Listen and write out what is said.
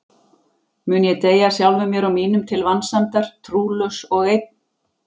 Mun ég deyja sjálfum mér og mínum til vansæmdar, trúlaus og einn?